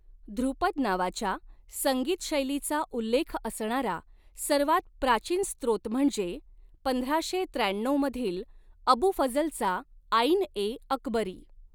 धृपद नावाच्या संगीत शैलीचा उल्लेख असणारा सर्वात प्राचीन स्त्रोत म्हणजे पंधराशे त्र्याण्णऊ मधील अबू फझलचा आईन ए अकबरी.